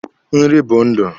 Nri bụ ndụ.